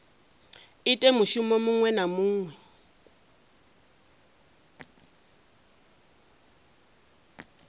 ite mushumo muṅwe na muṅwe